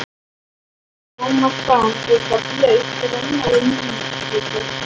Thomas fann eitthvað blautt renna við munnvikið.